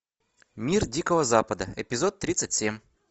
мир дикого запада эпизод тридцать семь